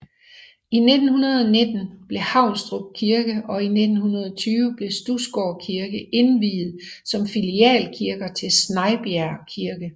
I 1919 blev Haunstrup Kirke og i 1920 blev Studsgård Kirke indviet som filialkirker til Snejbjerg Kirke